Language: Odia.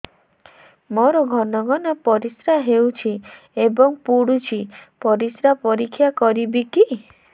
ମୋର ଘନ ଘନ ପରିସ୍ରା ହେଉଛି ଏବଂ ପଡ଼ୁଛି ପରିସ୍ରା ପରୀକ୍ଷା କରିବିକି